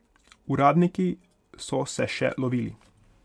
Uradniki so se še lovili.